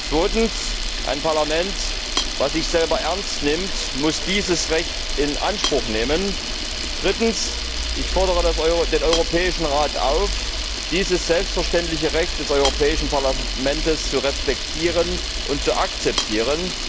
Zweitens, ein Parlament, das sich selbst ernst nimmt, muss dieses Recht in Anspruch nehmen. Drittens fordere ich den Europäischen Rat auf, dieses selbstverständliche Recht des Europäischen Parlaments zu respektieren und zu akzeptieren.